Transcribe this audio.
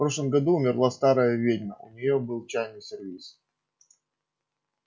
в прошлом году умерла старая ведьма а у неё был чайный сервиз